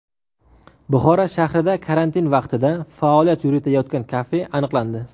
Buxoro shahrida karantin vaqtida faoliyat yuritayotgan kafe aniqlandi.